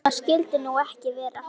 Það skyldi nú ekki vera?